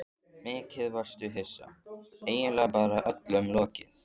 Mikið varstu hissa, eiginlega bara öllum lokið.